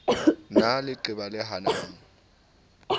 na le leqeba le hanang